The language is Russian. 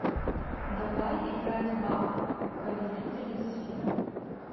давай играть в апп повелители сфер